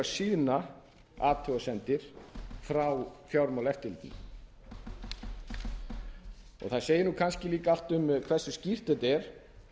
síðna athugasemdir frá fjármálaeftirlitinu það segir kannski líka allt um hversu skýrt þetta er